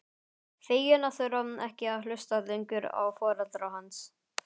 Fegin að þurfa ekki að hlusta lengur á foreldra hans.